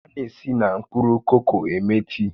A na-esi na mkpụrụ koko eme tii